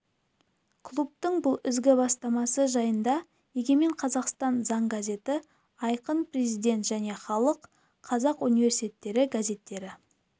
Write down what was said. клубтың бұл ізгі бастамасы жайында егемен қазақстан заң газеті айқын президент және халық қазақ университеті газеттері